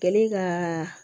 Kɛlen ka